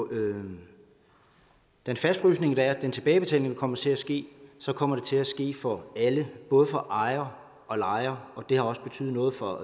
en fastfrysning og at den tilbagebetaling komme til at ske kommer til at ske for alle både for ejere og lejere det har også betydet noget for